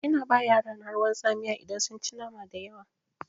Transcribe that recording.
Ina ba yarana ruwan tsamiya idan sun ci nama dayawa.